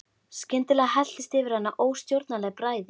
Skyndilega helltist yfir hana óstjórnleg bræði.